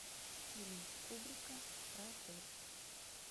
фильм кубрика про отель